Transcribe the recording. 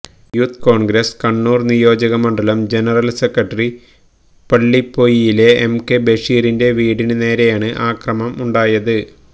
youth Congress Kannur നിയോജക മണ്ഡലം general secretary പള്ളിപ്പൊയിലിലെ എം കെ ബഷീറിന്റെ വീടിന് നേരെയാണ് അക്രമം ഉണ്ടായത്